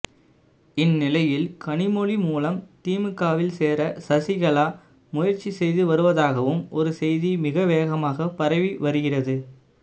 இந்நிலையில் கனிமொழி மூலம் திமுகவில் சேர சசிகலா முயற்சி செய்து வருவதாகவும் ஒருசெய்தி மிக வேகமாக பரவி வருகிறது